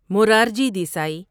Morarji Desai